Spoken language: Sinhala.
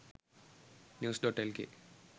news.lk